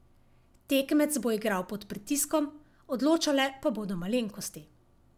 Tekmec bo igral pod pritiskom, odločale pa bodo malenkosti.